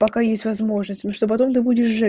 пока есть возможность ну что потом ты будеш жить